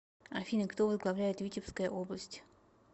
афина кто возглавляет витебская область